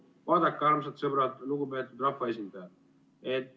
Vaadake, armsad sõbrad, lugupeetud rahvaesindajad!